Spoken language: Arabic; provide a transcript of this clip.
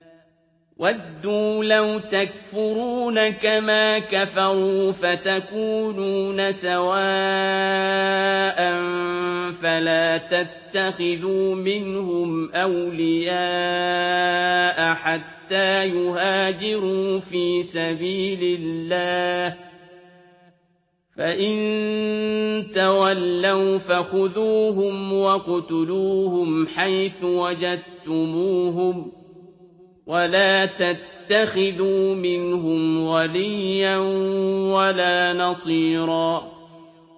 وَدُّوا لَوْ تَكْفُرُونَ كَمَا كَفَرُوا فَتَكُونُونَ سَوَاءً ۖ فَلَا تَتَّخِذُوا مِنْهُمْ أَوْلِيَاءَ حَتَّىٰ يُهَاجِرُوا فِي سَبِيلِ اللَّهِ ۚ فَإِن تَوَلَّوْا فَخُذُوهُمْ وَاقْتُلُوهُمْ حَيْثُ وَجَدتُّمُوهُمْ ۖ وَلَا تَتَّخِذُوا مِنْهُمْ وَلِيًّا وَلَا نَصِيرًا